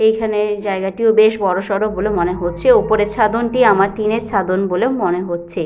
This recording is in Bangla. এখানে জায়গাটিও বেশ বড়সড় বলে মনে হচ্ছে। ওপরে ছাদন টি আমার টিনের ছাদন বলে মনে হচ্ছে।